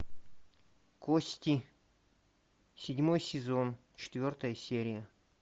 кости седьмой сезон четвертая серия